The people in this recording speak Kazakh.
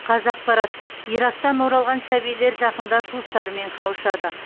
қазақпарат ирактан оралған сәбилер жақында туыстарымен қауышады